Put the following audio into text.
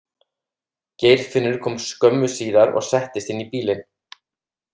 Geirfinnur kom skömmu síðar og settist inn í bílinn.